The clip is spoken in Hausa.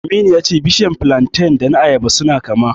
Aminu ya ce bishiyar filanten da ta ayaba suna kama.